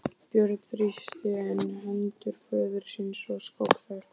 Björn þrýsti enn hendur föður síns og skók þær.